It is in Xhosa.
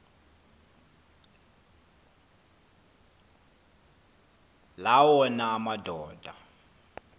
la wona amadoda